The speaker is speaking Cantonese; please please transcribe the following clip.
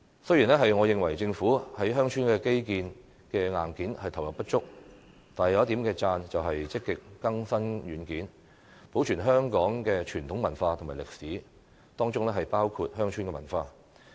雖然我認為政府在鄉村的基建硬件上投入不足，但有一點值得稱讚，就是積極更新軟件，保存香港的傳統文化和歷史，當中包括鄉村文化。